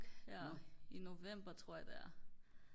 i november tror jeg det er